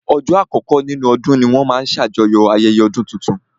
Ọjọ́ àkọkọ́ nínú ọdún ní wọ́n máa n ṣe ṣàjọyọ̀ ayẹyẹ ọdún tuntun